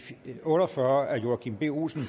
otte og fyrre af joachim b olsen